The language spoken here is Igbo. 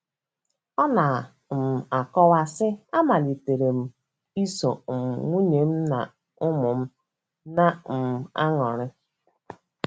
Ọ na - um akọwa, sị: “ Amalitere m iso um nwunye m na ụmụ m na - um anọrị.